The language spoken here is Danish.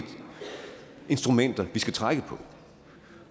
instrumenter vi skal trække på